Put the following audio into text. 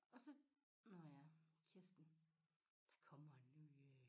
Og så nåh ja Kirsten der kommer en ny øh